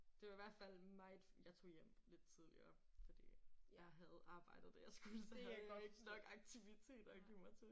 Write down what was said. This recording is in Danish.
Det var i hvert fald meget jeg tog hjem lidt tidligere fordi jeg havde arbejdet det jeg skulle så havde ikke nok aktiviteter at give mig til